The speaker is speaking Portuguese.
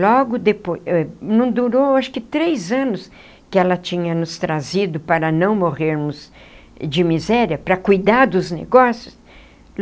Logo depois... não durou acho que três anos que ela tinha nos trazido para não morrermos de miséria, para cuidar dos negócios.